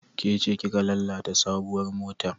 Ke ce kika lalata sabuwar motar?